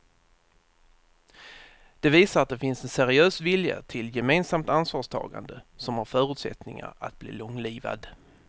Det visar att det finns en seriös vilja till gemensamt ansvarstagande som har förutsättningar att bli långlivad.